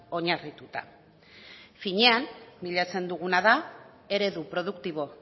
oinarrituta finean bilatzen duguna da eredu produktibo